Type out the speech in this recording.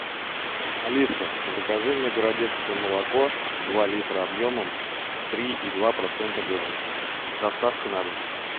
алиса закажи мне городецкое молоко два литра объемом три и два процента жирности с доставкой на дом